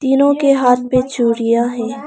तीनों के हाथ पे चूड़ियां है।